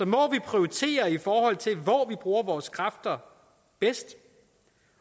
må vi prioritere i forhold til hvor vi bruger vores kræfter bedst